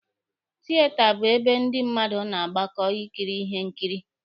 Tieta bụ ebe ndị mmadụ na-agbakọ ikiri ihe nkiri.